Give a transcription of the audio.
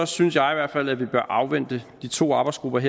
synes jeg i hvert fald at vi bør afvente de to arbejdsgruppers